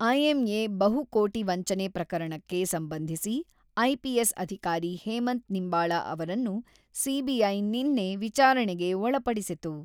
IMA ಬಹುಕೋಟಿ ವಂಚನೆ ಪ್ರಕರಣಕ್ಕೆ ಸಂಬಂಧಿಸಿ, ಐಪಿಎಸ್ ಅಧಿಕಾರಿ ಹೇಮಂತ್ ನಿಂಬಾಳ‌ ಅವರನ್ನು ಸಿಬಿಐ ನಿನ್ನೆ ವಿಚಾರಣೆಗೆ ಒಳಪಡಿಸಿತು.